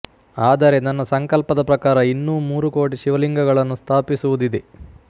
ಆದರೆ ನನ್ನ ಸಂಕಲ್ಪದ ಪ್ರಕಾರ ಇನ್ನೂ ಮೂರುಕೋಟಿ ಶಿವಲಿಂಗಗಳನ್ನು ಸ್ಥಾಪಿಸುವುದಿದೆ